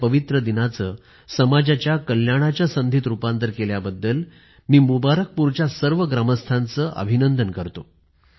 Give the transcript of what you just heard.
या पवित्र दिनाचं समाजाच्या कल्याणाच्या संधीत रूपांतर केल्याबद्दल मी मुबारकपूरच्या सर्व ग्रामस्थांचे अभिनंदन करतो